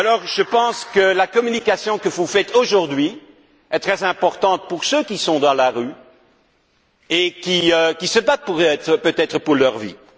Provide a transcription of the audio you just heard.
Je pense que la communication que vous faites aujourd'hui est très importante pour ceux qui sont dans la rue et qui se battent peut être pour leur vie.